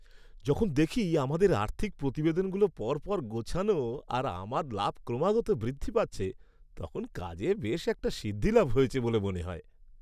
যখন দেখি আমাদের আর্থিক প্রতিবেদনগুলো পর পর গোছানো আর আমার লাভ ক্রমাগত বৃদ্ধি পাচ্ছে তখন কাজে বেশ একটা সিদ্ধিলাভ হয়েছে বলে মনে হয়।